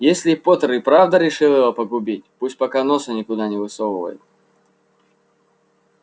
если поттер и правда решил его погубить пусть пока носа никуда не высовывает